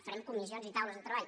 farem comissions i taules de treball